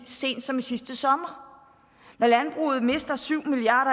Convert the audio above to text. sent som sidste sommer når landbruget mister syv milliard